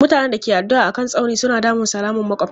Mutanen da ke addu'a a kan tsaunin suna damun salaman makwabta.